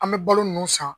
An bɛ balo ninnu san